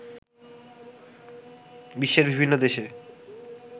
বিশ্বের বিভিন্ন দেশে